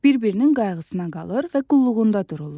Bir-birinin qayğısına qalır və qulluğunda dururlar.